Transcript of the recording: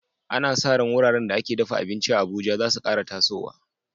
Ana sa ran wuraren da ake dafa abinci a Abuja za su kara tasowa.